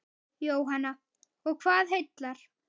Jóhanna: Og hvað heillar?